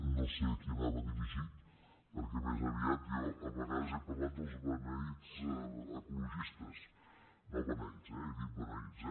no sé a qui anava dirigit perquè més aviat jo a vegades he parlat dels beneïts ecologistes no beneits eh he dit beneïts